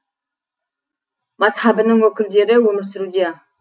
мазһабының өкілдері өмір сүруде